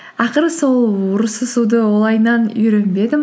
ақыры сол ұрысысуды үйренбедім